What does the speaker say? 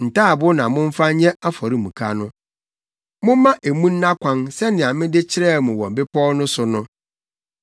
Ntaaboo na momfa nyɛ afɔremuka no. Momma emu nna kwan sɛnea mede kyerɛɛ mo wɔ bepɔw no so no.